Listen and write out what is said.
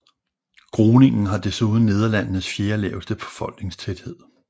Groningen har desuden Nederlandenes fjerde laveste befolkningstæthed